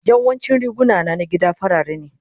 Yawancin riguna na gida farare ne.